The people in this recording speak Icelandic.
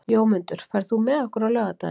Jómundur, ferð þú með okkur á laugardaginn?